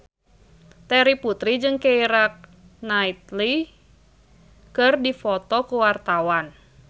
Terry Putri jeung Keira Knightley keur dipoto ku wartawan